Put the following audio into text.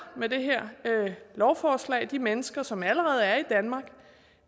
med det her lovforslag de mennesker som allerede er i danmark